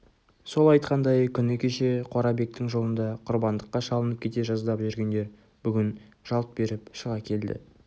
сол айтқандай күні кеше қорабектің жолында құрбандыққа шалынып кете жаздап жүргендер бүгін жалт беріп шыға келді